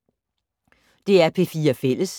DR P4 Fælles